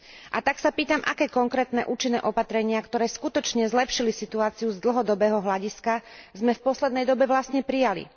A tak sa pýtam, aké konkrétne účinné opatrenia, ktoré skutočne zlepšili situáciu z dlhodobého hľadiska, sme v poslednej dobe vlastne prijali?